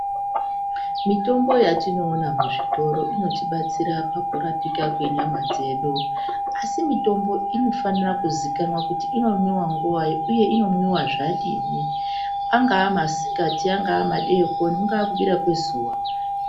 Mitombo yatinoona kuzvitoro inotibatsira pakurapika kwenyama dzedu àsi mitombo inofanira kuzikanwa kuti inomwiwa nguwai uye inomwiwa zvadini angaa masikati angaa madeikoni, kungaa kubira kwezuwa.